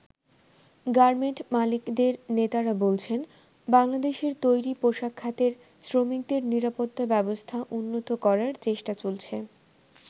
Garment মালিকদের নেতারা বলছেন, বাংলাদেশের তৈরি পোশাক খাতের শ্রমিকদের নিরাপত্তা ব্যবস্থা উন্নত করার চেষ্টা চলছে।